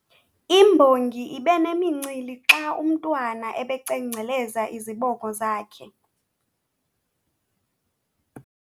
Imbongi ibe nemincili xa umntwana ebecengceleza izibongo zakhe.